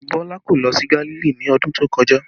Bọlá kò lọ sí Gálílì ní ọdún tó kọjá